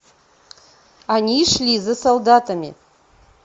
они шли за солдатами